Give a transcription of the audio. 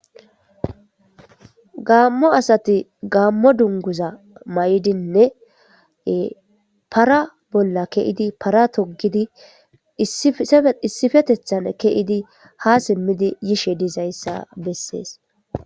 gaammo asati gaammo dunguza may7dinne para bolla keidi para togidi issifetethan keidi ha simmidi yishe dizayssa bessees